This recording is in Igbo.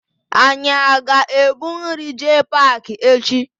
Anyị aga ebu nri jee paakị echi?